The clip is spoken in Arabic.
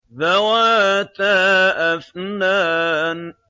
ذَوَاتَا أَفْنَانٍ